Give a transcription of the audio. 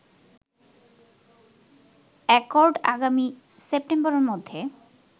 accord আগামী সেপ্টেম্বরের মধ্যে